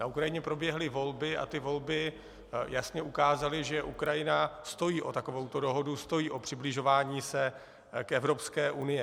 Na Ukrajině proběhly volby a ty volby jasně ukázaly, že Ukrajina stojí o takovouto dohodu, stojí o přibližování se k Evropské unii.